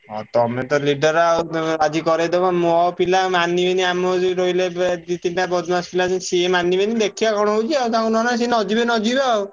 ଆଉ ତମେ ତ leader ଆଉ ତମେ ରାଜି କରେଇଦବ ମୋ ପିଲା ମାନିବେନି ଆମର ଯୋଉ ରହିଲେ ବେ ଦି ତିନିଟା ବଦମାସ ପିଲା ସିଏ ମାନିବେନି ଦେଖିଆ କଣ ହଉଛି ଆଉ ତାଙ୍କୁ ନହେଲେ ସିଏ ନ ଯିବେ ନ ଯିବେ ଆଉ।